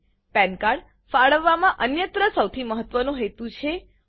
પાન cardપેન કાર્ડ ફાળવવામાં અન્યત્ર સૌથી મહત્વનો હેતુ છે